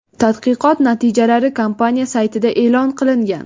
Tadqiqot natijalari kompaniya saytida e’lon qilingan .